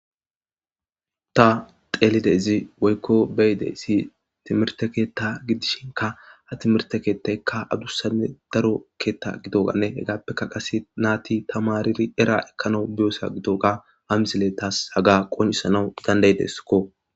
Ta xeelide izi woykko beyide isi timirte keetta gidishinka ha timirte keettaykka adussanne daro keetta gidoganne hegaappekka qase naati tamariri era ekkana biyosa gidoga hamsile taas haga qonisanawu dandayideskko